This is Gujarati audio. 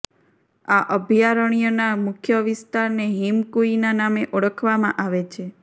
આ અભયારણ્યના મુખ્ય વિસ્તારને હિમકૂઈના નામે ઓળખવામાં આવે છે